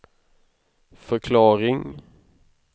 förklaring